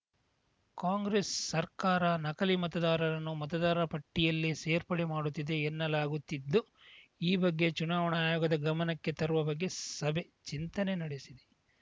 ಕಾಂಗ್ರೆಸ್‌ ಸರ್ಕಾರ ನಕಲಿ ಮತದಾರರನ್ನು ಮತದಾರ ಪಟ್ಟಿಯಲ್ಲಿ ಸೇರ್ಪಡೆ ಮಾಡುತ್ತಿದೆ ಎನ್ನಲಾಗುತ್ತಿದ್ದು ಈ ಬಗ್ಗೆ ಚುನಾವಣಾ ಆಯೋಗದ ಗಮನಕ್ಕೆ ತರುವ ಬಗ್ಗೆ ಸಭೆ ಚಿಂತನೆ ನಡೆಸಿದೆ